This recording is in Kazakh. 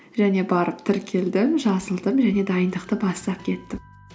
және барып тіркелдім жазылдым және дайындықты бастап кеттім